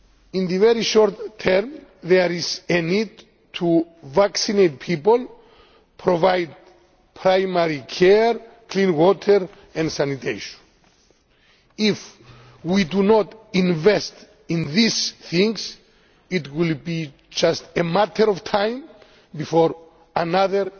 In the very short term, there is a need to vaccinate people, and provide primary care, clean water, and sanitation. If we do not invest in these things, it will be just a matter of time before another